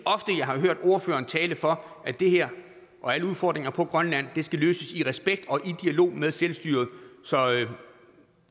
jeg har hørt ordføreren tale for at det her og alle udfordringer på grønland skal løses i respekt og i dialog med selvstyret så